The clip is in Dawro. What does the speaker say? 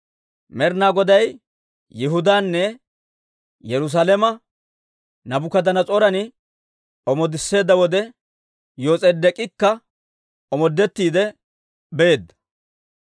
Med'inaa Goday Yihudaanne Yerusaalame Naabukadanas'ooran omoodisseedda wode Yos'edeek'ikka omoodettiide beedda.